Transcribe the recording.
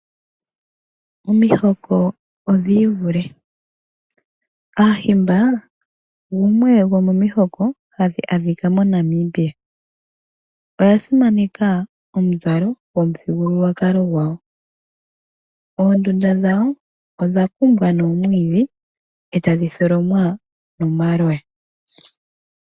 Omihoko odhi ivule, aaHimba gumwe gomomihoko hadhi adhika moNamibia oya simaneka omuzalo gomuthigululwakalo gwawo. Oondunda dhawo odha kumbwa noomwiidhi etadhi tholomwa nomaloya.